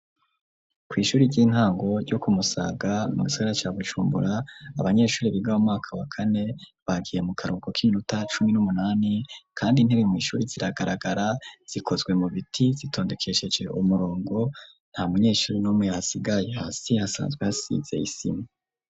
Kw'ishure ry'intango ryo kumusaga mu gisagara ca Bujumbura abanyeshure bigabo maka wa kane bagiye mu karuboko k'iminota cumi n'umunani kandi intebe mu ishuri ziragaragara zikozwe mu biti zitondekesheje umurongo nta munyeshuri n'umwe yasigaye, hasi asanzwe hasize isima.